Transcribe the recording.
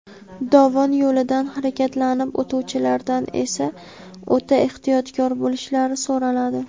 dovon yo‘lidan harakatlanib o‘tuvchilardan esa o‘ta ehtiyotkor bo‘lishlari so‘raladi.